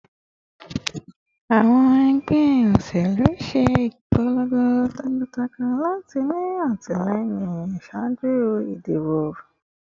Awọn ẹgbẹ oṣelu ṣe ipolongo takuntakun lati ni atilẹyin ṣaaju idibo